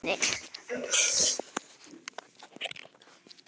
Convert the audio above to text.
Í munni